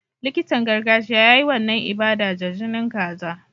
Likitan gargajiya ya yi wannan ibada da jinin kaza.